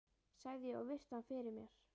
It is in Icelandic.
sagði ég og virti hann fyrir mér.